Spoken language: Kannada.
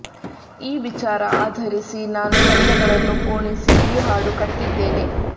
ಈ ವಿಚಾರ ಆಧರಿಸಿ ನಾನು ಶಬ್ದಗಳನ್ನು ಪೋಣಿಸಿ ಈ ಹಾಡು ಕಟ್ಟಿದ್ದೇನೆ